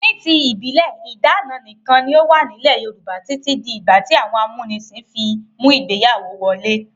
Ní ti ìbílẹ̀, ìdáná nìkan ni ó wà nílẹ̀ Yorùbá títí di ìgbà tí àwọn amúnisìn fi mú ìgbéyàwó wọlé.